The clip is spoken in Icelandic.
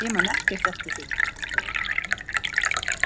Ég man ekkert eftir því.